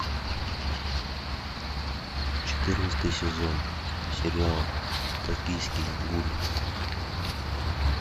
четырнадцатый сезон сериал токийский гуль